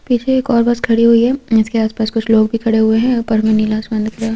पीछे एक और बस खड़ी हुई है इसके आसपास कुछ लोग भी खड़े हुए हैं ऊपर में नीला आसमान दिख रहा।